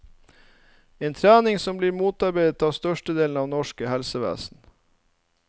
En trening som blir motarbeidet av størstedelen av det norske helsevesen.